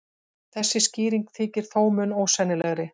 Þessi skýring þykir þó mun ósennilegri.